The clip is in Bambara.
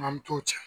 An mi t'o cɛ